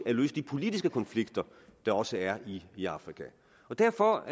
at løse de politiske konflikter der også er i afrika derfor